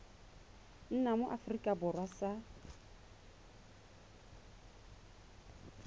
nna mo aforika borwa sa